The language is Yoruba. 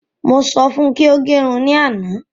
Mọ sọ fún kí o gẹ irun ní àna